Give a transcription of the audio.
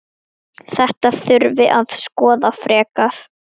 Þetta þurfi að skoða frekar.